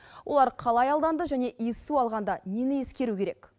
олар қалай алданды және иіссу алғанда нені ескеру керек